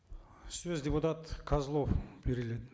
сөз депутат козлов беріледі